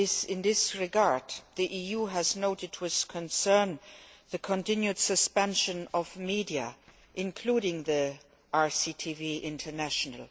In this regard, the EU has noted with concern the continued suspension of media, including RCTV International.